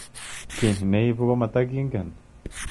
Ki ne ipu ko matakingen.